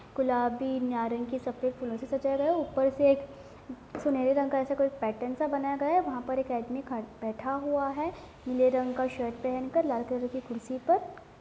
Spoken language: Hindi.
गुलाबी नारंगी सफ़ेद फूलों से सजाया गया है ऊपर से सुनहरे रंग ऐसा कोई पैटर्न सा बनाया गया है| वहाँ पे एक आदमी खड़ा बैठ हुआ है नीले रंग का शर्ट पहनकर लाल कलर की कुर्सी पर|